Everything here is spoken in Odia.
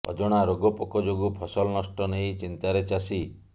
ଅଜଣା ରୋଗ ପୋକ ଯୋଗୁଁ ଫସଲ ନଷ୍ଟ ନେଇ ଚିନ୍ତାରେ ଚାଷୀ